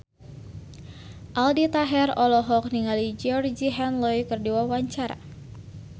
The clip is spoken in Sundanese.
Aldi Taher olohok ningali Georgie Henley keur diwawancara